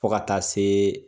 Fɔ ka taa se.